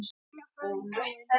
Stína farin, dáin.